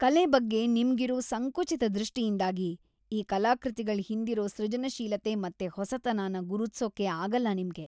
ಕಲೆ ಬಗ್ಗೆ ನಿಮ್ಗಿರೋ ಸಂಕುಚಿತ ದೃಷ್ಟಿಯಿಂದಾಗಿ ಈ ಕಲಾಕೃತಿಗಳ್ ಹಿಂದಿರೋ ಸೃಜನಶೀಲತೆ ಮತ್ತೆ ಹೊಸತನನ ಗುರುತ್ಸೋಕೆ ಅಗಲ್ಲ ನಿಮ್ಗೆ.